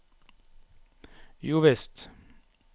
jovisst